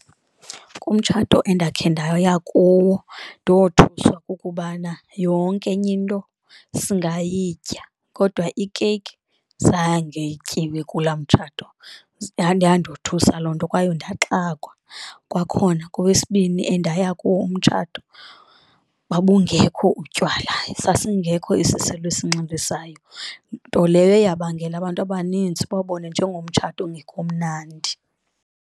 Kumtshato endakhe ndaya kuwo ndothuswa kukubana yonke enye into singayitya kodwa ikeyiki zange ityiwe kulaa mtshato yandothusa loo nto kwaye ndaxakwa. Kwakhona kowesibini endaya kuwo umtshato babungekho utywala sasingekho isiselo esinxilisayo, nto leyo eyabangela abantu abanintsi babone njengomtshato ongekho mnandi.